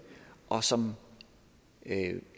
og som